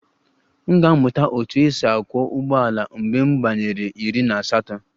M ga-amụta otú e si akwọ ụgbọala mgbe m gbanwere iri na asatọ